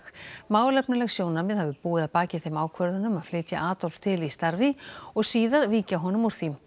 málefnaleg sjónarmið hafi búið að baki þeim ákvörðunum að flytja Adolf til í starfi og síðar víkja honum úr því